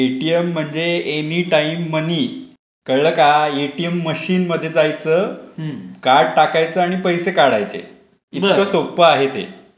ए T M म्हणजे any time money. कळलं का ? एटीएम मशीन मध्ये जायचं कार्ड टाकायचं आणि पैसे काढायचे. इतकं सोपा आहे ते.